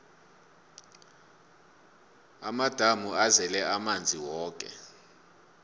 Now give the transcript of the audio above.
amadamu azele amanzi woke